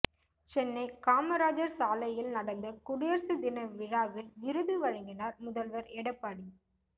சென்னை காமராஜர் சாலையில் நடந்த குடியரசு தின விழாவில் விருது வழங்கினார் முதல்வர் எடப்பாடி